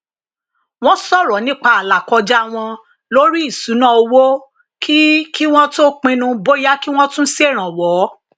wón sọ̀rọ̀ nípa àlàkọjá wọn lórí ìṣúnná owó kí kí wón tó pinnu bóyá kí wón tún ṣèrànwó